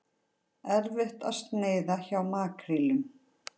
Erfitt að sneiða hjá makrílnum